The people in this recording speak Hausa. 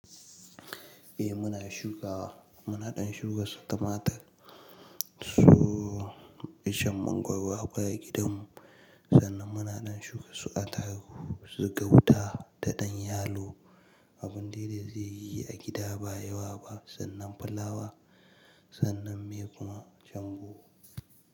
Eh muna shukawa, muna ɗan shuka su tumatur, su ishen mangwaro a baya gidanmu, sannan muna ɗan shuka su atarugu, su gauta da ɗan yalo. Abun dai-dai zai yi a gida ba yawa ba sannan fulawa sannan me kuma shambo.